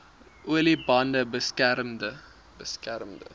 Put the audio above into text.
olie bande beskermende